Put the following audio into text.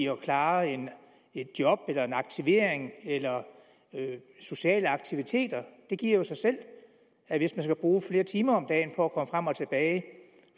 at klare et job en aktivering eller sociale aktiviteter det giver jo sig selv at hvis man skal bruge flere timer om dagen på at komme frem og tilbage